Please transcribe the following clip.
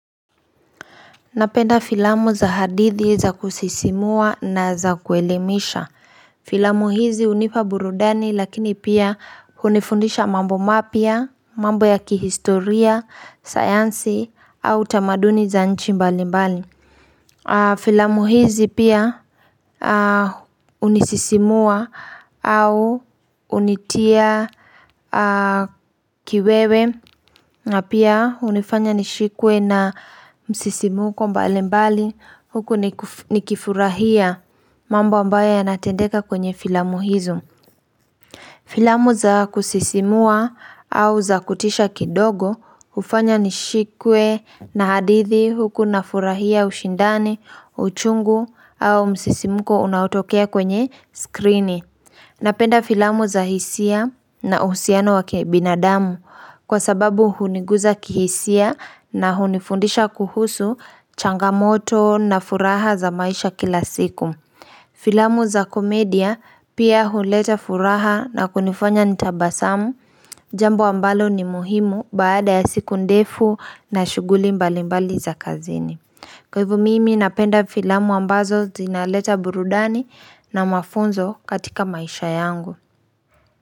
Napenda filamu za hadithi za kusisimua na za kuelemisha. Filamu hizi hunipa burudani lakini pia hunifundisha mambo mapya, mambo ya kihistoria, sayansi au tamaduni za nchi mbalimbali. Filamu hizi pia hunisisimua au hunitia kiwewe na pia hunifanya nishikwe na msisimko mbalimbali huku nikifurahia mambo ambayo yanatendeka kwenye filamu hizo. Filamu za kusisimua au za kutisha kidogo hufanya nishikwe na hadithi huku nafurahia ushindani, uchungu au msisimko unaotokea kwenye skrini. Napenda filamu za hisia na uhusiano wa kibinadamu kwa sababu huniguza kihisia na hunifundisha kuhusu changamoto na furaha za maisha kila siku. Filamu za komedia pia huleta furaha na kunifanya nitabasamu, jambo ambalo ni muhimu baada ya siku ndefu na shughuli mbalimbali za kazini. Kwa hivyo mimi napenda filamu ambazo zinaleta burudani na mafunzo katika maisha yangu.